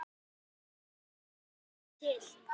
Slík stefna er ekki til.